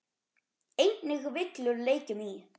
Einnig villur leikjum í.